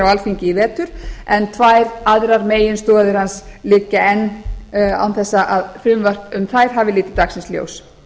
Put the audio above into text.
alþingi í vetur en tvær aðrar meginstoðir hans liggja enn á þess að frumvarp um þær hafi litið dagsins ljós